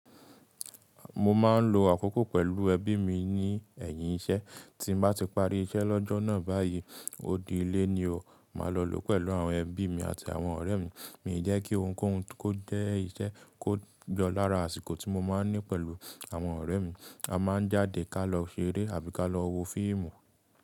Mo máa ń lo àkókò pẹ̀lú ẹbí mi ní ẹ̀yìn iṣẹ́. Tí n bá ti parí iṣẹ́ lọ́jọ́ náà báyìí, odi ilé ni o, màá lọ lò pẹ̀lú àwọn ẹbí mi àti àwọn ọ̀rẹ́ mi. Mi je kí ohunkóhun kó jẹ́ iṣẹ́ kó yo lára àsìkò tí mo máa ń ní pẹ̀lú àwọn ọ̀rẹ́ mi. A máa ń jáde ká lọ ṣeré àbí ká lọ wo fíìmù.